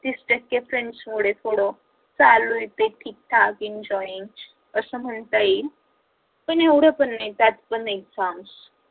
तीस टक्के friends मुळे पण चालू आहे ते ठीकठाक enjoy आस म्हणता येईल पण एवड पण नाही त्यात पण exams